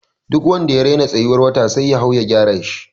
Duk wanda ya rena tsayuwar wata sai ya hau ya gyara shi.